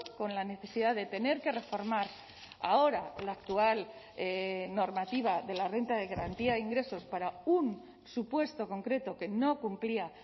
con la necesidad de tener que reformar ahora la actual normativa de la renta de garantía de ingresos para un supuesto concreto que no cumplía